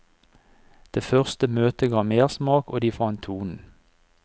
Det første møtet ga mersmak og de fant tonen.